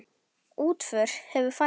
Útför hefur farið fram.